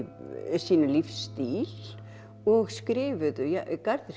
sínum lífsstíl og skrifuðu